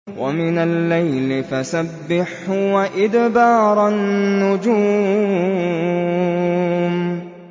وَمِنَ اللَّيْلِ فَسَبِّحْهُ وَإِدْبَارَ النُّجُومِ